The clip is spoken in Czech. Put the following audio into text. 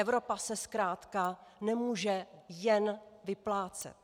Evropa se zkrátka nemůže jen vyplácet."